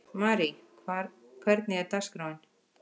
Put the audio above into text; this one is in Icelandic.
Marí, hvernig er dagskráin?